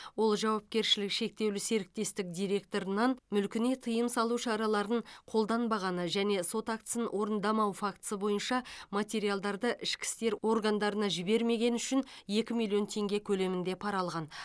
ол жауапкершілігі шектеулі серіктестік директорынан мүлкіне тыйым салу шараларын қолданбағаны және сот актісін орындамау фактісі бойынша материалдарды ішкі істер органдарына жібермегені үшін екі миллион теңге көлемінде пара алған